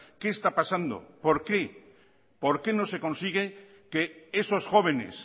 qué está pasando por qué por qué no se consigue que esos jóvenes